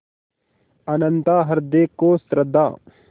अनंतता हृदय को श्रद्धा